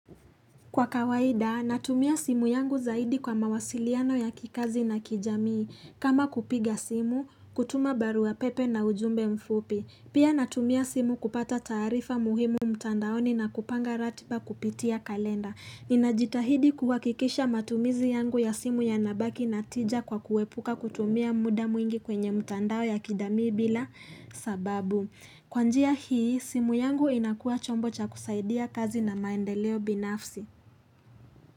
Kwa kawaida, natumia simu yangu zaidi kwa mawasiliano ya kikazi na kijamii. Kama kupiga simu, kutuma baru pepe na ujumbe mfupi. Pia natumia simu kupata tarifa muhimu mtandaoni na kupanga ratiba kupitia kalenda. Ninajitahidi kuhakikisha matumizi yangu ya simu yanabaki na tija kwa kuepuka kutumia muda mwingi kwenye mtandao ya kijamii bila sababu. Kwa njia hii, simu yangu inakua chombo cha kusaidia kazi na maendeleo binafsi.